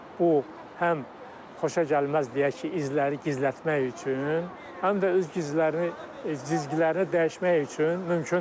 Bu həm xoşagəlməz deyək ki, izləri gizlətmək üçün, həm də öz cizgilərini cizgilərini dəyişmək üçün mümkündür.